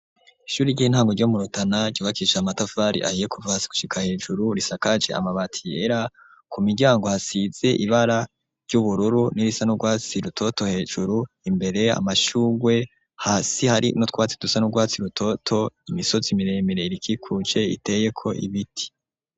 Ishuri ry'intango ryo murutana ryubakisha matavari ahiye kuvasi gushika hejuru risakaje amabati yera ku miryango hasize ibara ry'ubururu n'irisa n'urwatsi rutoto hejuru imbere amashugwe hasi hari no twatsi dusa n'urwatsi rutoto imisotsi miremire irikikuce iteye ko ibiti.